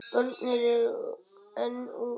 Börnin eru enn ung.